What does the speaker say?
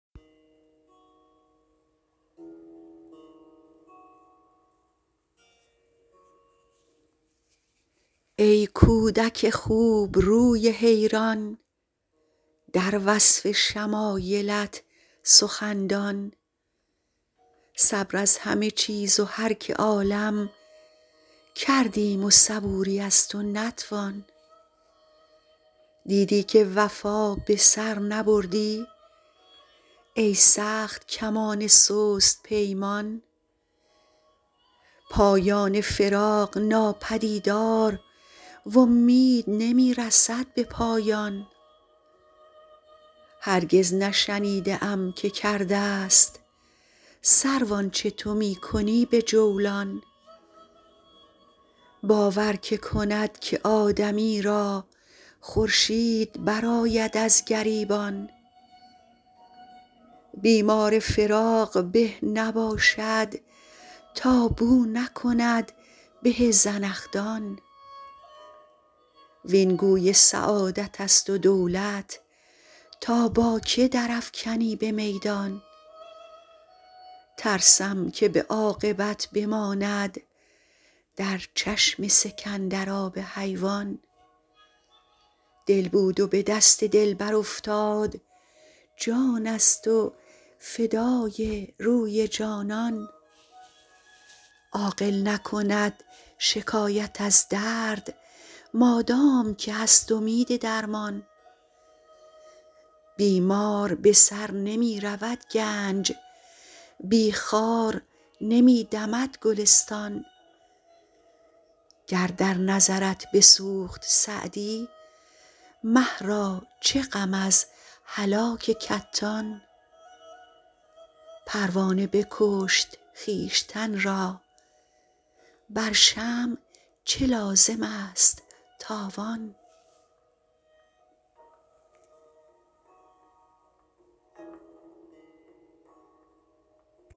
ای کودک خوبروی حیران در وصف شمایلت سخندان صبر از همه چیز و هر که عالم کردیم و صبوری از تو نتوان دیدی که وفا به سر نبردی ای سخت کمان سست پیمان پایان فراق ناپدیدار و امید نمی رسد به پایان هرگز نشنیده ام که کرده ست سرو آنچه تو می کنی به جولان باور که کند که آدمی را خورشید برآید از گریبان بیمار فراق به نباشد تا بو نکند به زنخدان وین گوی سعادت است و دولت تا با که در افکنی به میدان ترسم که به عاقبت بماند در چشم سکندر آب حیوان دل بود و به دست دلبر افتاد جان است و فدای روی جانان عاقل نکند شکایت از درد مادام که هست امید درمان بی مار به سر نمی رود گنج بی خار نمی دمد گلستان گر در نظرت بسوخت سعدی مه را چه غم از هلاک کتان پروانه بکشت خویشتن را بر شمع چه لازم است تاوان